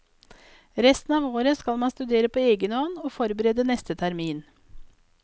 Resten av året skal man studere på egen hånd og forberede neste termin.